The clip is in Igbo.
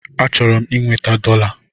Achọrọ m inweta dọla.